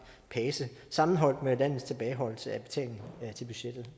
pace sammenholdt med landets tilbageholdelse af betaling til budgettet